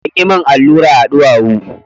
Sun yi min allura a duwawu.